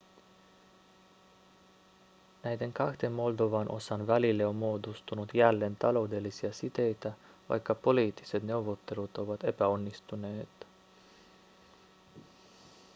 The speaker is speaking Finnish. näiden kahden moldovan osan välille on muodostunut jälleen taloudellisia siteitä vaikka poliittiset neuvottelut ovat epäonnistuneet